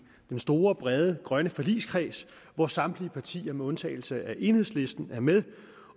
den store brede grønne forligskreds hvor samtlige partier med undtagelse af enhedslisten er med